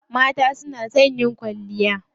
Mata su na son yin kwalliya.